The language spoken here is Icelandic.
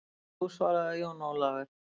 Jú, svaraði Jón Ólafur.